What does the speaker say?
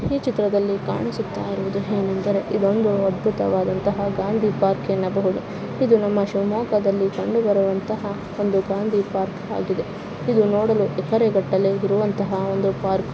ಈ ಚಿತ್ರದಲ್ಲಿ ಕಾಣಿಸುತ್ತಾ ಇರುವುದು ಹೇ ನೆಂದರೆ ಇದೊಂದು ಅದ್ಭುತವಾದಂತಹ ಗಾಂಧಿ ಪಾರ್ಕ್ ಎನ್ನಬಹುದು ಇದು ನಮ್ಮ ಶಿವಮೊಗ್ಗದಲ್ಲಿ ಕಂಡುಬರುವಂತಹ ಒಂದು ಗಾಂಧಿ ಪಾರ್ಕ್ ಆಗಿದೆ ಇದು ನೋಡಲು ಎಕರೆಗಟ್ಟಲೆ ಇರುವಂತಹ ಒಂದು ಪಾರ್ಕ್ .